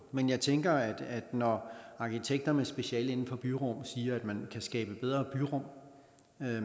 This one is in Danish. men jeg tænker at når arkitekter med speciale inden for byrum siger at man kan skabe bedre byrum